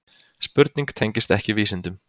Spurning tengist ekki vísindum.